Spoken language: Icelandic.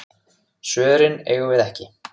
Svörin eigum við ekki.